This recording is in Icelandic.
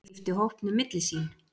Skipti hópnum milli sín